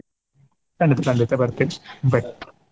ಖಂಡಿತ ಖಂಡಿತ ಬರ್ತೀನಿ bye .